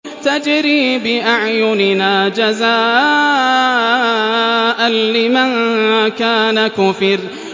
تَجْرِي بِأَعْيُنِنَا جَزَاءً لِّمَن كَانَ كُفِرَ